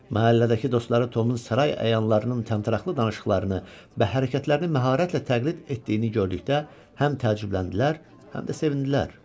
Məhəllədəki dostları Tomun saray əyanlarının təmtəraqlı danışıqlarını və hərəkətlərini məharətlə təqlid etdiyini gördükdə həm təəccübləndilər, həm də sevindilər.